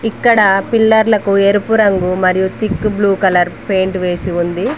ఇక్కడ పిల్లర్లకు ఎరుపు రంగు మరియు థిక్ బ్లూ కలర్ పెయింట్ వేసి ఉంది.